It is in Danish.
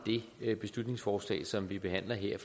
det beslutningsforslag som vi behandler her at